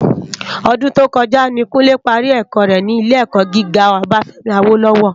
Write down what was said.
Òdún tókòjá ni Kunle pàrí èkò rè ni ilé èkò gigá Obafemi Awolowo